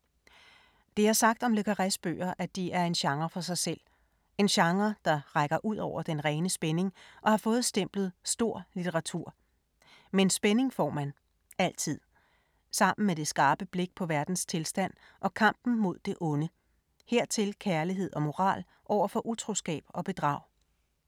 Det er sagt om le Carrés bøger, at de er en genre for sig selv. En genre, der rækker ud over den rene spænding og har fået stemplet stor litteratur. Men spænding får man. Altid. Sammen med det skarpe blik på verdens tilstand og kampen mod det onde. Hertil kærlighed og moral over for utroskab og bedrag.